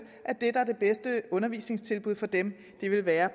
at det der er det bedste undervisningstilbud for dem vil være